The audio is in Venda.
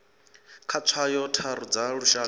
kha tswayo tharu dza lushaka